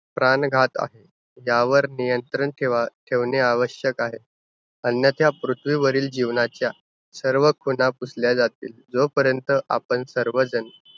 प्राणबाधा ज्यावर नियंत्रण ठेवा~ ठेवणे आवश्यक आहे. अन्यथा पृथ्वीवरील जीवनाच्या सर्व खुणा पुसल्या जातील. जोपर्यंत आपण सर्वजण